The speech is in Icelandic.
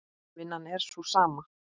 Vinnan er sú sama.